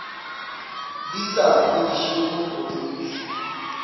di sa kgodišego go tlišwe